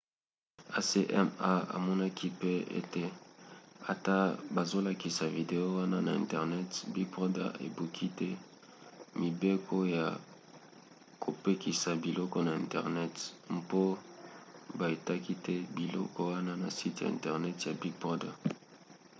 acma amonaki pe ete ata bazolakisa video wana na internet big brother ebuki te mibeko ya kopekisa biloko na internet mpo baitaki te biloko wana na site internet ya big brother